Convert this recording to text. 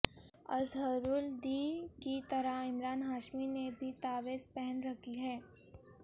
اظہرالدی کی طرح عمران ہاشمی نے بھی تعویذ پہن رکھی ہے